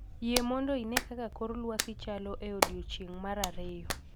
Yie mondo ine kaka kor lwasi chalo e odiechieng' mar ariyo